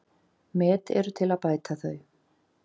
Met eru til að bæta þau.